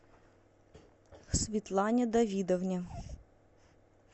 светлане давидовне